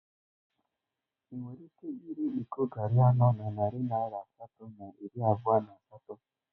Ị nwere ike ire iko garri anọ na narị naira asatọ na iri abụọ na asatọ?